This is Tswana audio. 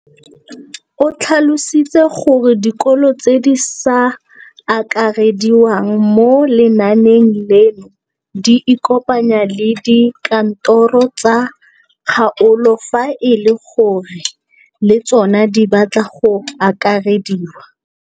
O tlhalositse gore dikolo tse di sa akarediwang mo lenaaneng leno di ikopanye le dikantoro tsa kgaolo fa e le gore le tsona di batla go akarediwa.